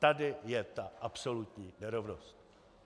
Tady je ta absolutní nerovnost!